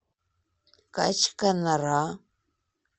качканара